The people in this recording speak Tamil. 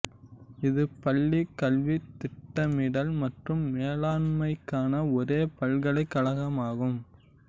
இது பள்ளிக் கல்வித் திட்டமிடல் மற்றும் மேலாண்மைக்கான ஒரே பல்கலைக் கழகமாகும்